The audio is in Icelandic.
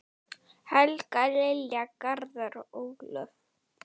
Helga, Lilja, Garðar og Ólöf.